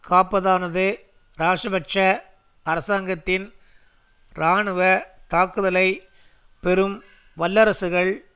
காப்பதானது இராஜபக்ஷ அரசாங்கத்தின் இராணுவ தாக்குதலை பெரும் வல்லரசுகள்